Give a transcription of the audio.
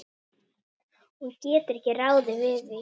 Hún getur ekki ráðið því.